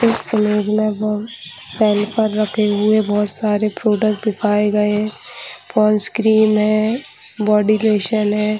इस इमेज में हम सेल्फ पर रखे हुए बहुत सारे प्रोडक्ट दिखाये गए है पोंड्स क्रीम है बॉडी लोशन है।